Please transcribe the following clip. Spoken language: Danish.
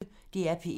DR P1